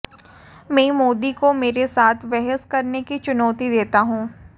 मैं मोदी को मेरे साथ बहस करने की चुनौती देता हूं